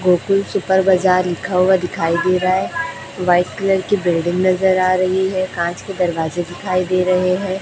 Gokul super Bazar लिखा हुआ दिखाई दे रहा है। व्हाइट कल की बिल्डिंग नजर आ रही है। कांच के दरवाजे दिखाई दे रहे हैं।